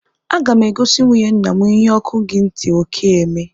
Aga mụ egosi nwụnye ńnà mụ ihe ọkụ gị ntị oke eme!!!